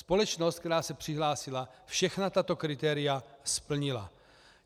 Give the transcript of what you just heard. Společnost, která se přihlásila, všechna tato kritéria splnila.